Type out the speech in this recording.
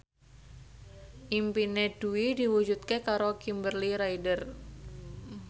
impine Dwi diwujudke karo Kimberly Ryder